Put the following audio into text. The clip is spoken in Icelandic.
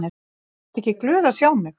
Ertu ekki glöð að sjá mig?